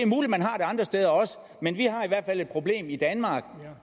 andre steder men vi har i hvert fald et problem i danmark